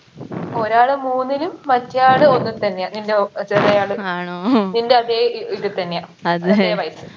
ഒരാള് മൂന്നിലും മറ്റയാൾ ഒന്നി തന്നെയാ നിൻറെ ഓ ചെറിയാള് നിൻറെ അതേ ഏർ ഇതി തന്നെയാ അതേ വയസ്സ്